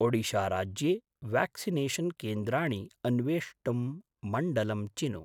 ओडिशा राज्ये व्याक्सिनेषन् केन्द्राणि अन्वेष्टुं मण्डलं चिनु।